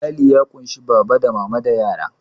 Iyali ya kunshi da baba, mama, da yara